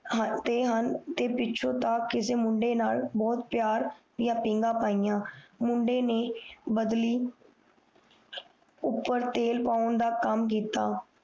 ਤੇ ਹਨ ਪਿੱਛੋਂ ਤਾ ਕਿਸੇ ਮੁੰਡੇ ਨਾਲ ਬਹੁਤ ਪਿਆਰ ਦੀਆ ਪੀਂਗਾ ਪਾਇਆ ਮੁੰਡੇ ਨੇ ਬਦਲੀ ਉਪਰ ਤੇਲ ਪੋਂ ਦਾ ਕਾਮ ਕੀਤਾ